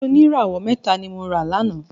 Ọtí oníràwọ̀ mẹ́ta ni mora láná